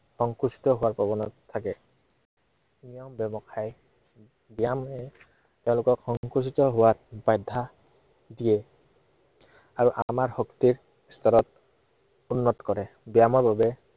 সংকোচিত হোৱাৰ প্ৰৱণতা থাকে। নিজৰ ব্য়ৱসায়, ব্য়ায়ামে তেওঁলোকক সংকোচিত হোৱাত বাধা দিয়ে। আৰু আমাৰ শক্তিৰ স্তৰ উন্নত কৰে।